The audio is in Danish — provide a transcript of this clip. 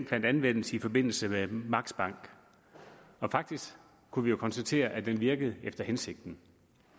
fandt anvendelse i forbindelse med max bank faktisk kunne vi jo konstatere at den virkede efter hensigten